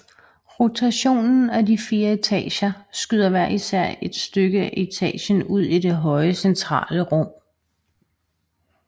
Rotationen af de fire etager skyder hver især et stykke af etagen ud i det høje centrale rum